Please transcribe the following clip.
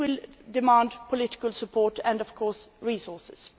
This will demand political support and, of course, resources.